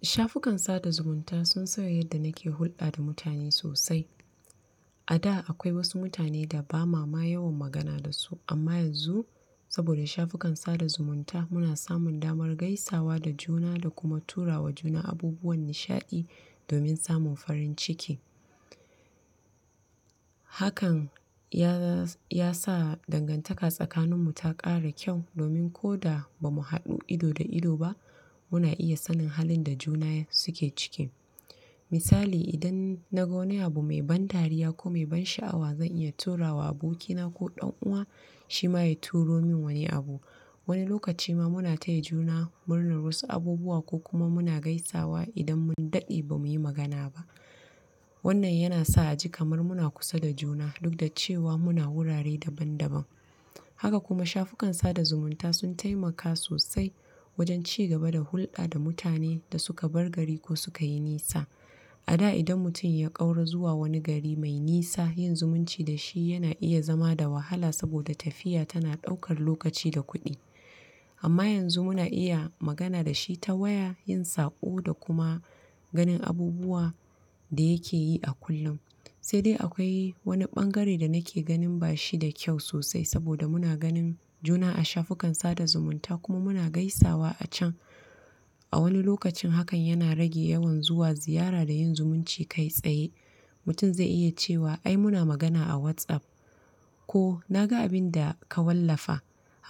Shafukan sada zumunta sun sauya yadda nake hulɗa da mutane sosai. A da akwai wasu mutane da ba ma ma yawan magana da su amma yanzu saboda shafukan sada zumunta muna samun damar gaisawa da juna da kuma tura wa juna abubuwan nishaɗi domin samun farin ciki. Hakan ya sa dangantaka tsakaninmu ta ƙara kyau domin ko da ba mu haɗu ido da ido ba muna iya sanin halin da juna suke ciki. Misali idan na ga wani abu mai ban dariya ko mai ban sha'awa zan iya tura wa abokina ko ɗan uwana shi ma ya turo min wani abu. Wani lokaci ma muna taya juna murnar wasu abubuwa ko kuma muna gaisawa idan mun daɗe ba mu yi magana ba. Wannan yana sa a ji kamar muna kusa da juna duk da cewa muna wurare daban-daban. Haka kuma shafukan sada zumunta sun taimaka sosai wajen cigaba da hulɗa da mutane da suka bar gari ko sukayi nisa. A da idan mutum ya ƙaura zuwa wani gari mai nisa yin zumunci da shi yana iya zama da wahala saboda tafiya tana ɗaukar lokaci da kuɗi. Amma yanzu muna iya magana da shi ta waya, yin saƙo, da kuma ganin abubuwan da yake yi a kullum. Sai dai akwai wani ɓangare da nake ganin ba shi da kyau sosai saboda muna ganin juna a shafukan sada zumunta kuma muna gaisawa a can. A wani lokacin hakan yana rage yawan zuwa ziyara da yin zumunci kai tsaye. Mutum zai iya cewa ai muna magana a WhatsApp ko na ga abin da ka wallafa.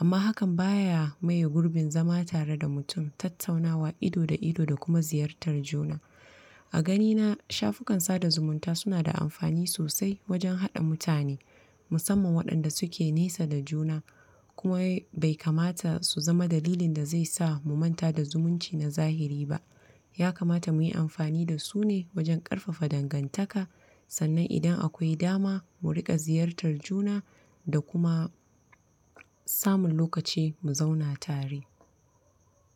Amma hakan ba ya maye gurbin zama tare da mutum, tattaunawa ido da ido da kuma ziyartar juna. A ganina shafukan sada zumunta suna da amfani sosai wajen haɗa mutane, musamman waɗanda suke nisa da juna, kuma bai kamata su zama dalilin da zai sa mu manta da zumunci na zahiri ba. Ya kamata mu yi amfani da su ne wajen ƙarfafa dangantaka sannan idan akwai dama mu riƙa ziyartar juna da kuma samun lokaci mu zauna tare.